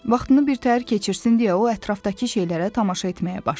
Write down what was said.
Vaxtını birtəhər keçirsin deyə o ətrafdakı şeylərə tamaşa etməyə başladı.